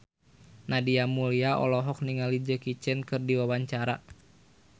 Nadia Mulya olohok ningali Jackie Chan keur diwawancara